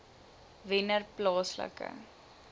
wennerplaaslike